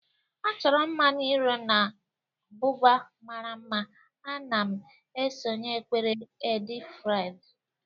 A chọrọ mma n'íro na buba mara mma, ana m esonyere ekpere Eid-el-Fitr.